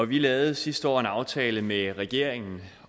vi lavede sidste år en aftale med regeringen